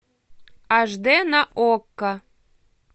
аш дэ на окко